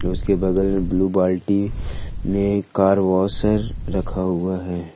उसके बगल में ब्लू बाल्टी में कार वॉशर रखा हुआ है।